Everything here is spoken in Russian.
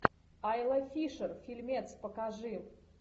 айла фишер фильмец покажи